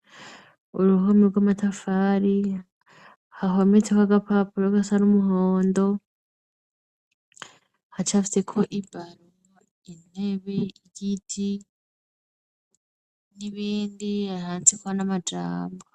Uruhome rw'amatafari hahometseko agapapuro gasa n'umuhondo, hacafyeko ibaro, intebe, ibiti n'ibindi handitseko n'amajambo.